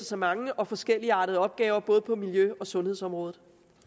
så mange og forskelligartede opgaver både på miljø og sundhedsområdet